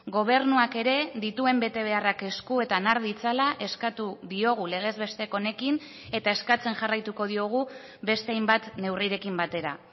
gobernuak ere dituen betebeharrak eskuetan har ditzala eskatu diogu legez besteko honekin eta eskatzen jarraituko diogu beste hainbat neurrirekin batera